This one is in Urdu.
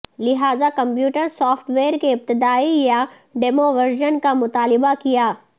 لہذا کمپیوٹر سافٹ ویئر کے ابتدائی یا ڈیمو ورژن کا مطالبہ کیا